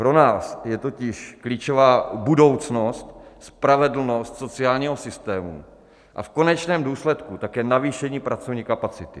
Pro nás je totiž klíčová budoucnost, spravedlnost sociálního systému, a v konečném důsledku také navýšení pracovní kapacity.